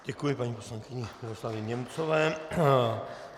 Děkuji paní poslankyni Miroslavě Němcové.